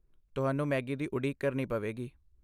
ਤੁਹਾਨੂੰ ਮੈਗੀ ਦੀ ਉਡੀਕ ਕਰਨੀ ਪਵੇਗੀ।